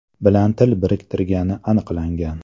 bilan til biriktirgani aniqlangan.